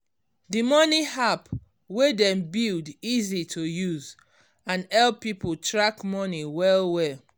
d money app wey dem build easy to use and help people track money well well